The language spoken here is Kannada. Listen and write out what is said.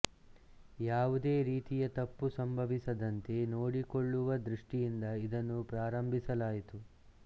ಯಾವುದೇ ರೀತಿಯ ತಪ್ಪು ಸಂಭವಿಸದಂತೆ ನೋಡಿಕೊಳ್ಳುವ ದೃಷ್ಟಿಯಿಂದ ಇದನ್ನು ಪ್ರಾರಂಭಿಸಲಾಯಿತು